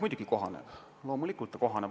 Muidugi kohaneb, loomulikult ta kohaneb.